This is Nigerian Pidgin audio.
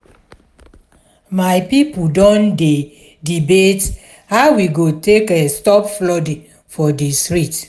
my pipo don dey debate how we go take stop flooding for di street.